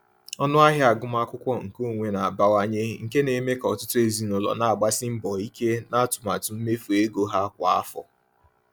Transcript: Ọnụ ahịa agụmakwụkwọ nke onwe na-abawanye, nke na-eme ka ọtụtụ ezinụlọ na-agbasi mbọ ike n’atụmatụ mmefu ego ha kwa afọ.